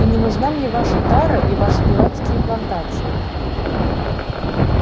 и не нужна мне ваша тара и ваши дурацкие плантации